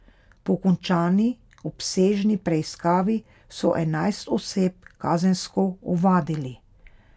Po končani obsežni preiskavi so enajst oseb kazensko ovadili.